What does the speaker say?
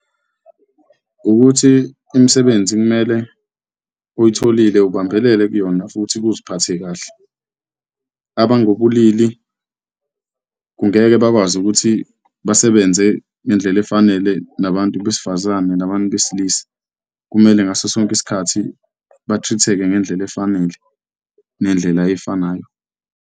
Ukuthi imisebenzi kumele uyitholile ubambelele kuyona futhi uziphathe kahle, abangobulili kungeke bakwazi ukuthi basebenze ngendlela efanele nabantu besifazane nabantu besilisa. Kumele ngaso sonke isikhathi ba-treat-eke ngendlela efanele nendlela efanayo.